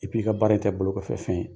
i ka baara in tɛ bolokɔfɛ fɛn ye;